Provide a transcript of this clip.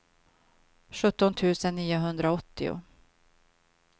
sjutton tusen niohundraåttio